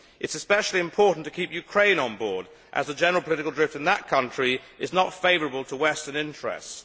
It is especially important to keep Ukraine on board as the general political drift in that country is not favourable to western interests.